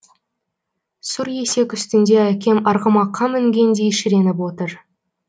сұр есек үстінде әкем арғымаққа мінгендей шіреніп отыр